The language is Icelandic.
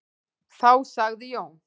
Þá sagði Jón: